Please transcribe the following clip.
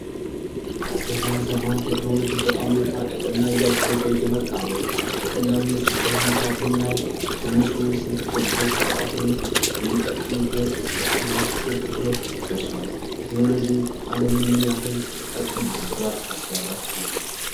ከዘመን ዘመን ቴክኖሎጂ በጣም እየተራቀቀ እና እያደገ እየመጣ ነው። በቀላሉ የስልክን ሁኔታ ብናይ ከትንሹ ስልክ ጀምሮ እስከ አሁን እስከምንጠቀምበት ስማርት ስልክ ድረስ ደርስዋል። ቴክኖሎጂ አለምን ምን ያህል ጠቅሟል ብላችሁ ታስባላችሁ?